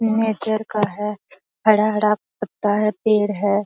Nature का है हरा-हरा पत्ता है पेड़ है।